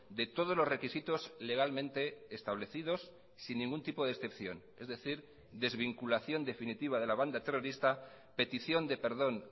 de todos los requisitos legalmente establecidos sin ningún tipo de excepción es decir desvinculación definitiva de la banda terrorista petición de perdón